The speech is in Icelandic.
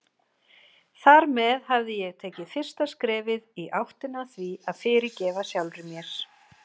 Þar með hafði ég tekið fyrsta skrefið í áttina að því að fyrirgefa sjálfri mér.